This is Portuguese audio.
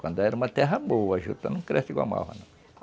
Quando era uma terra boa, a juta não cresce igual a malva, não.